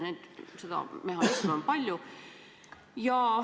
Selliseid mehhanisme on palju.